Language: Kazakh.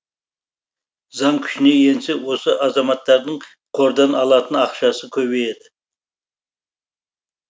заң күшіне енсе осы азаматтардың қордан алатын ақшасы көбейеді